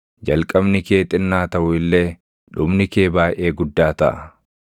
Jalqabni kee xinnaa taʼu illee, dhumni kee baayʼee guddaa taʼa.